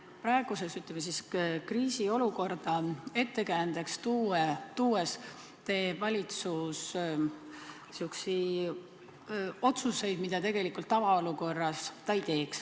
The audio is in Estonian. Praegust, ütleme, kriisiolukorda ettekäändeks tuues teeb valitsus sihukesi otsuseid, mida ta tavaolukorras tegelikult ei teeks.